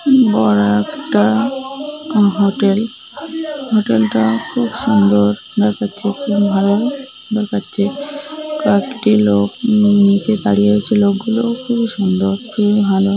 বড় একটা hotel hotel - টা খুব সুন্দর দেখাচ্ছে খুব ভালো দেখাচ্ছে কয়েকটি লোক নীচে দারিয়ে ছিল লোকগুলো খুবই সুন্দর খুব ভালো।